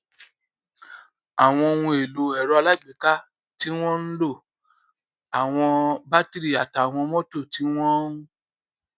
àwọn ohun èlò èrọ alágbèéká tí wón ń lò àwọn batiri àtàwọn mótò tí wón ń